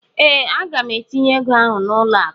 ee, Aga m etinye ego ahụ n'ụlọ akụ